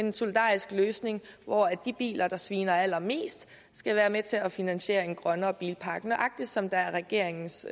en solidarisk løsning hvor de biler der sviner allermest skal være med til at finansiere en grønnere bilpark nøjagtig som det er regeringens